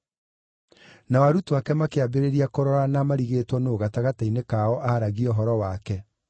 Nao arutwo ake makĩambĩrĩria kũrorana marigĩtwo nũũ gatagatĩ-inĩ kao aaragia ũhoro wake.